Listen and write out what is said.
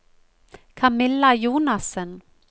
Camilla Jonassen